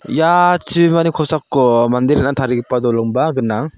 ia chibimani kosako mande re·na tarigipa dolongba gnang.